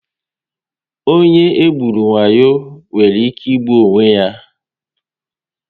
Onye e gburu wayo nwere ike ịgbu onwe ya